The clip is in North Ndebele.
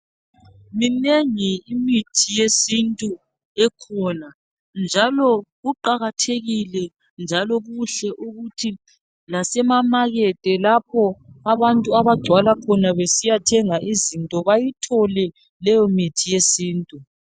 Minengi imithi yesintu ekhona njalo kuqakathekile njalo kuhle ukuthi lase mamekethi lapho abantu abagcwala khona besiyathenga izinto bayithole leyomithi yesintu.